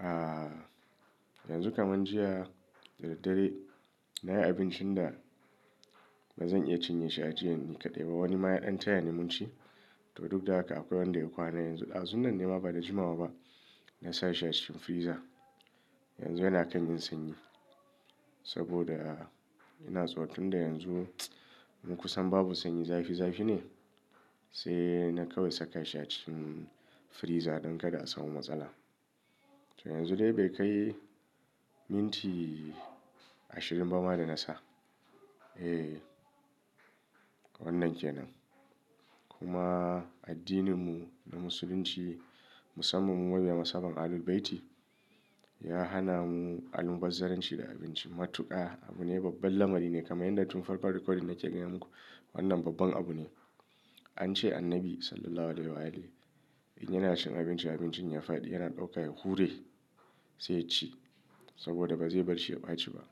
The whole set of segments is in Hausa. ah, yanzu kamar jiya daddare na yi abincin da ba zan iya cinye shi a jiya ni kaɗai ba. Wani maya ɗan taya ni mun ci to duk da haka akwai wanda ya kwana yanzu. Dazu nan nema ba da jimawa ba na sa shi a cikin freezer. Yanzu yana kanyin sanyi saboda ina so tunda yanzu mun kusan babu sanyi zafi zafi ne sai na kawai saka shi a cikin freezer don kada a samu matsala. To yanzu dai bai kai minti ashirin bama da na sa. Eh, wannan ke nan. Kuma addininmu na Musulunci musamman mu mabiyan mashaban Ahlul Bayti ya hana mu alum bazzaran ci da abinci. Matuƙa abu ne babbar lamari ne kamar yadda tun farkon recording nake gaya muku wannan babban abu ne. An ce annabi Sallallahu Alaihi Wasallam in yana cin abinci abincin ya faɗi yana ɗaukawa hure sai ya ci saboda ba zai bar shi ya ɓaci ba.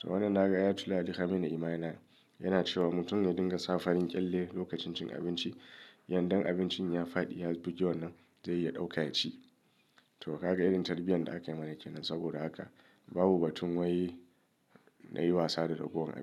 To wannan naga aya tulahi dekamini imanana yana cewa mutum ya dinga sa farin ƙyalle lokacin cin abinci yanda abincin ya faɗi ya bugewa nan zai iya ɗaukawa ya ci. To gaka irin tarbiyyar da akayi mana ke nan saboda haka babu batun wai na yi wasa da ragowar.